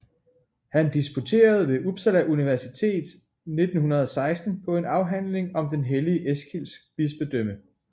Han disputerede ved Uppsala universitet 1916 på en afhandling om den hellige Eskils bispedømme